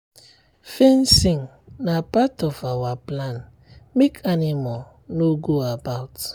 fencing na part of our plan make animal no go about.